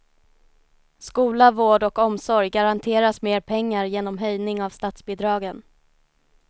Skola, vård och omsorg garanteras mer pengar genom höjning av statsbidragen.